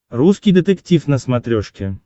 русский детектив на смотрешке